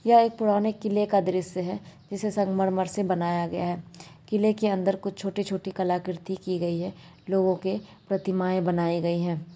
यह एक पुराने किले का दृश्य है जिसे संगमरमर से बनाया गया है किले के अंदर कुछ छोटी-छोटी कलाकृति की गई है लोगों के प्रतिमाएं बनाई गई है।